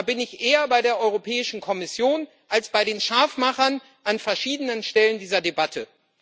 Da bin ich eher bei der Europäischen Kommission als bei den Scharfmachern an verschiedenen Stellen dieser Debatte.